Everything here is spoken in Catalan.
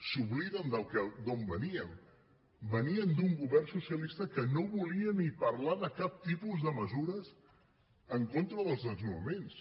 s’obliden d’on veníem veníem d’un govern socialista que no volia ni parlar de cap tipus de mesures en contra dels desnonaments